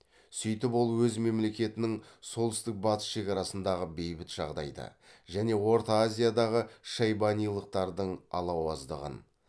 сөйтіп ол өз мемлекетінің солтүстік батыс шекарасындағы бейбіт жағдайды және орта азиядағы шайбанилықтардың алауыздығын